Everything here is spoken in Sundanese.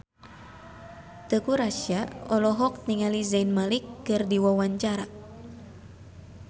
Teuku Rassya olohok ningali Zayn Malik keur diwawancara